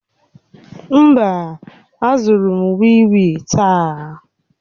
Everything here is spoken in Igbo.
Mba, azụrụ m wii wii taa.